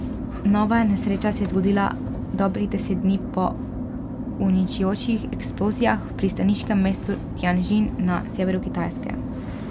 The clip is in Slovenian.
Nova nesreča se je zgodila dobrih deset dni po uničujočih eksplozijah v pristaniškem mestu Tjandžin na severu Kitajske.